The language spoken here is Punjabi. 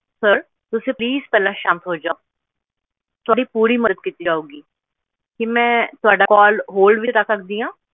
sir ਤੁਸੀਂ please ਸ਼ਾਂਤ ਹੋ ਜਾਓ ਤੁਹਾਡੀ ਪੂਰੀ ਮਦਦ ਕੀਤੀ ਜਾਊਗੀ ਕਿ ਮੈਂ ਤੁਹਾਡੀ callhold ਵਿਚ ਰੱਖ ਸਕਦੀ ਆ